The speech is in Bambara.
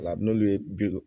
La n'olu ye bi